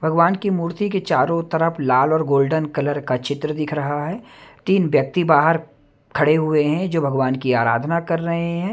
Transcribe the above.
भगवान की मूर्ति के चारों तरफ लाल और गोल्डन कलर का चित्र दिख रहा है तीन व्यक्ति बाहर खड़े हुए हैं जो भगवान की आराधना कर रहे हैं।